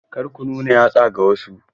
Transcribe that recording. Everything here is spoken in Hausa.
Kar ku nuna yatsa ga wasu!